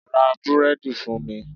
Ra Búrẹ́dì fún mi.